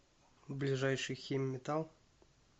ближайший химметалл